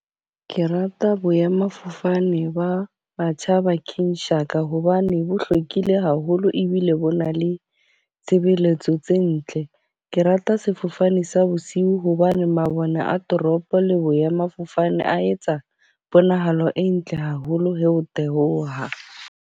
Ke rata boemafofane ba Matjhaba King Shaka hobane bo hlwekile haholo, ebile bo na le tshebeletso tse ntle. Ke rata sefofane sa bosiu hobane mabone a toropo le boemafofane, a etsa ponahalo e ntle haholo ha o theoha.